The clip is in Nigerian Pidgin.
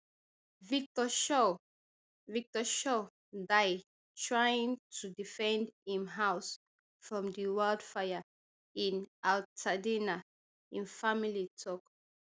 victor shaw victor shaw die trying to defend im house from di wildfire in altadena im family tok